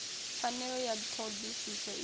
pfanelo ya ṱho ḓisiso i